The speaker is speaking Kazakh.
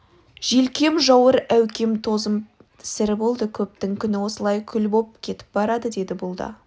желкем жауыр әукем тозып сірі болды көптің күні осылай күл боп кетіп барады деді бұл да